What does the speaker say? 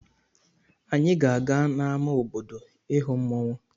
Anyị ga-aga n'ama obodo ịhụ mmọnwụ.